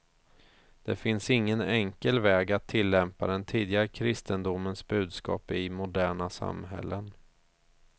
Det finns ingen enkel väg att tillämpa den tidiga kristendomens budskap i moderna samhällen.